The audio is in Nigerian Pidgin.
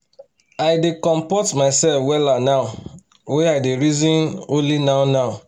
i dey compot mysef wella now wy i dey reason only now now